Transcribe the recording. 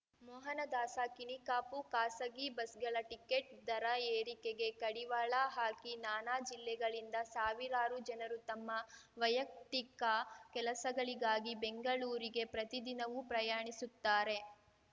ಮೋಹನದಾಸ ಕಿಣಿ ಕಾಪು ಖಾಸಗಿ ಬಸ್‌ಗಳ ಟಿಕೆಟ್‌ ದರ ಏರಿಕೆಗೆ ಕಡಿವಾಳ ಹಾಕಿ ನಾನಾ ಜಿಲ್ಲೆಗಳಿಂದ ಸಾವಿರಾರು ಜನರು ತಮ್ಮ ವೈಯಕ್ತಿಕ ಕೆಲಸಗಳಿಗಾಗಿ ಬೆಂಗಳೂರಿಗೆ ಪ್ರತಿ ದಿನವೂ ಪ್ರಯಾಣಿಸುತ್ತಾರೆ